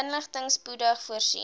inligting spoedig voorsien